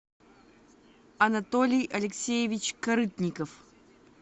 анатолий алексеевич корытников